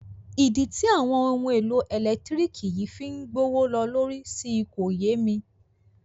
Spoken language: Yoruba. Ìdí tí àwọn ohun èlò ẹ̀lẹ́tírìkì yìí fí ń gbówó ló lórí si kò yé mi.